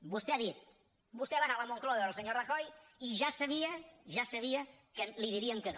vostè ha dit vostè va anar a la moncloa a veure el senyor rajoy i ja sabia que li dirien que no